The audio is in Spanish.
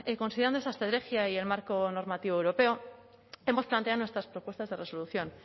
considerando esta estrategia y el marco normativo europeo hemos planteado nuestras propuestas de resolución